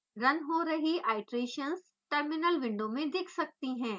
run हो रही iterations terminal window में दिख सकती हैं